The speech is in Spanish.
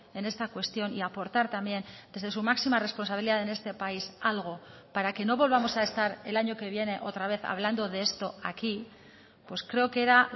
en esta cuestión y aportar también desde su máxima responsabilidad en este país algo para que no volvamos a estar el año que viene otra vez hablando de esto aquí pues creo que era